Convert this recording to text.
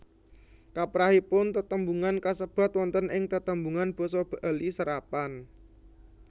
Kaprahipun tetembungan kasebat wonten ing tetembungan basa Bali serapan